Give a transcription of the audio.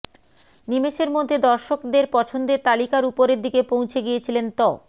নিমেষের মধ্যে দর্শকদের পছন্দের তালিকার উপরের দিকে পৌঁছে গিয়েছিলেন ত